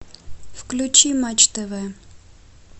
включи матч тв